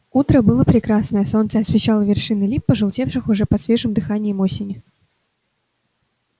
утро было прекрасное солнце освещало вершины лип пожелтевших уже под свежим дыханием осени